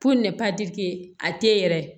a tɛ yɛrɛ